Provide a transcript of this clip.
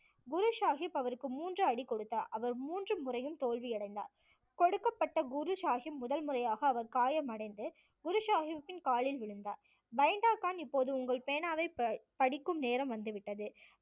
குரு சாஹிப் அவருக்கு மூன்று அடி கொடுத்தார் அவர் மூன்று முறையும் தோல்வி அடைந்தார் கொடுக்கப்பட்ட குரு சாஹிப் முதல் முறையாக அவர் காயம் அடைந்து குரு சாஹிப்பின் காலில் விழுந்தார். பெண்டே கான் இப்போது உங்களது பேனாவை ப~ படிக்கும் நேரம் வந்துவிட்டது